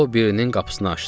O birinin qapısını açdı.